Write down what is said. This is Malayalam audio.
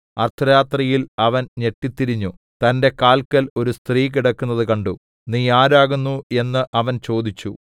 അർദ്ധരാത്രിയിൽ അവൻ ഞെട്ടിത്തിരിഞ്ഞു തന്റെ കാല്ക്കൽ ഒരു സ്ത്രീ കിടക്കുന്നത് കണ്ടു നീ ആരാകുന്നു എന്നു അവൻ ചോദിച്ചു